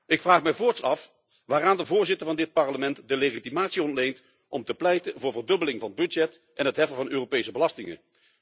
Ik vraag mij voorts af waaraan de voorzitter van dit Parlement de legitimatie ontleent om te pleiten voor verdubbeling van het budget en het heffen van Europese belastingen.